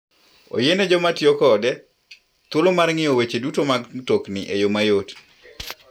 Oyiene joma tiyo kode thuolo mar ng'iyo weche duto mag mtokni e yo mayot.